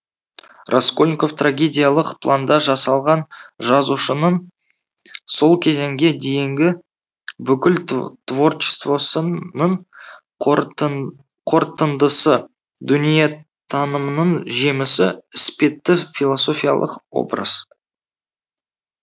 раскольников трагедиялық планда жасалған жазушының сол кезеңге дейінгі бүкіл творчествосының қортындысы дүниетанымының жемісі іспетті философиялық образ